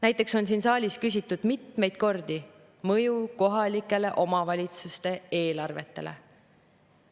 Näiteks on siin saalis küsitud mitmeid kordi mõju kohta kohalike omavalitsuste eelarvetele.